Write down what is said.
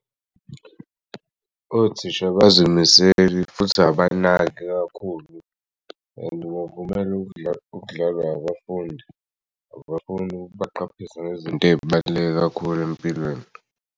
Othisha abazimiseli futhi abanaki kakhulu and kuvumela ukudlalwa abafundi abafuni kubaqaphisa ngezint'ebaluleke kakhulu empilweni.